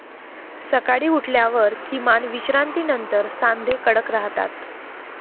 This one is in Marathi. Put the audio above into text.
सकाळी उठल्यावर किमान विश्रांतीनंतर सांधे कडक राहतात.